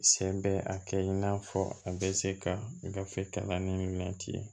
Sɛ bɛ a kɛ in n'a fɔ a bɛ se ka i gafe kalan ni mɛnti ye